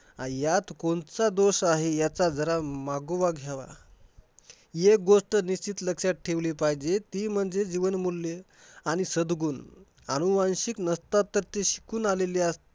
ह्यात कोणचा दोष आहे ह्याचा जरा मागोवा घ्यावा. येक गोष्ट निश्चित लक्षात ठेवली पाहिजे. ती म्हणजे जीवनमूल्य, सद्गुण अनुवांशिक नसतात तर ते शिकून आलेले